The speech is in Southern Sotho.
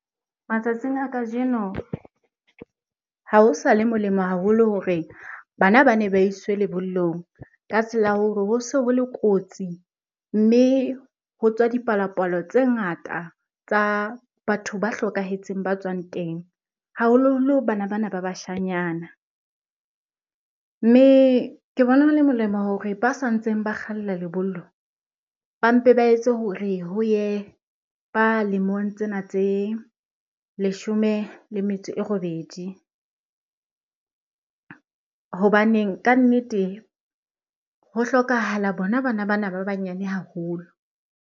Matsatsing a kajeno ha ho sa le molemo haholo hore bana bane ba iswe lebollong. Ka tsela ya hore ho se hole kotsi mme ho tswa dipalopalo tse ngata tsa batho ba hlokahetseng ba tswang teng, haholoholo bana bana ba bashanyana. Mme ke bona hole molemo hore ba santseng ba kgalla lebollo, ba mpe ba etse hore ho ye ba lemong tsena tse leshome le metso e robedi. Hobaneng ka nnete ho hlokahala bona bana bana ba banyane haholo.